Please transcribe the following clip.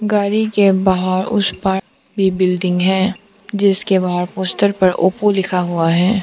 गाड़ी के बाहर उस पार भी बिल्डिंग है जिसके बाहर पोस्टर पर ओप्पो लिखा हुआ है।